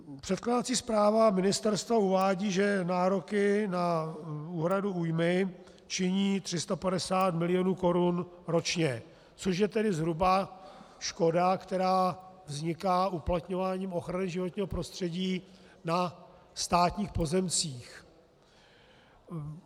Předkládací zpráva ministerstva uvádí, že nároky na úhradu újmy činí 350 milionů korun ročně, což je tedy zhruba škoda, která vzniká uplatňováním ochrany životního prostředí na státních pozemcích.